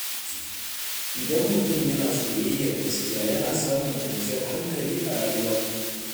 Idan mutum yana soyayyar gaskiya, yana samun kwanciyar hankali a rayuwa.